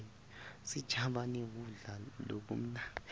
sijabane kudla lokumnandzi